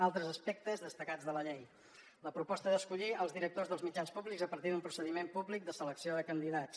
altres aspectes destacats de la llei la proposta d’escollir els directors dels mitjans públics a partir d’un procediment públic de selecció de candidats